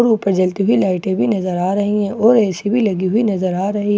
और ऊपर जलती हुई लाइटे भी नजर आ रही हैं और ए.सी. भी लगी हुई नजर आ रही --